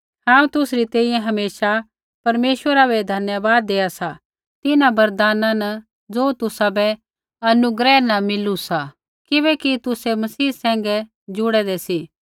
हांऊँ तुसरी तैंईंयैं हमेशा परमेश्वरा बै धन्यवाद देआ सा तिन्हां वरदाना बै ज़ो तुसाबै अनुग्रह न मिलू सा किबैकि तुसै मसीह सैंघै जुड़ेदै सी